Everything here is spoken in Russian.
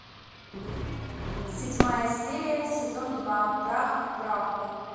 седьмая серия сезон два прах к праху